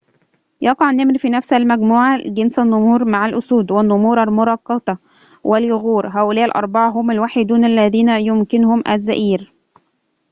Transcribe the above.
يقع النمر في نفس المجموعة جنس النمور مع الأسود، والنمور المرقطة، واليغور. هؤلاء الأربعة هم الوحيدون اللذين يمكنهم الزئير